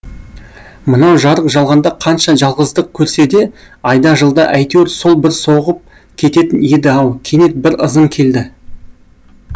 мынау жарық жалғанда қанша жалғыздық көрсе де айда жылда әйтеуір сол бір соғып кететін еді ау кенет бір ызың келді